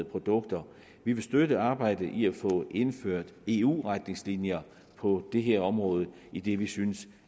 produkter vi vil støtte arbejdet i at få indført eu retningslinjer på det her område idet vi synes